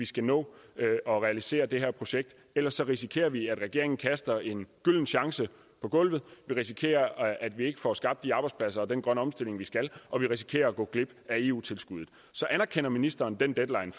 skal nå at realisere det her projekt ellers risikerer vi at regeringen kaster en gylden chance på gulvet vi risikerer at vi ikke får skabt de arbejdspladser og den grønne omstilling vi skal og vi risikerer at gå glip af eu tilskuddet så anerkender ministeren den deadline